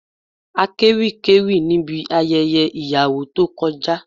Akéwì kéwì níbi ayẹyẹ ìyàwó tó kọjá